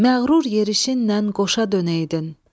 Məğrur yerişinlə qoşa dönəydin.